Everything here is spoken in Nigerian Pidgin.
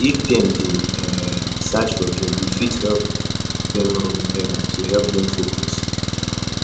um if dem dey um search for job you fit help dem run errand to help them focus